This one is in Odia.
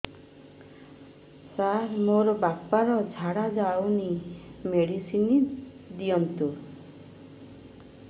ସାର ମୋର ବାପା ର ଝାଡା ଯାଉନି ମେଡିସିନ ଦିଅନ୍ତୁ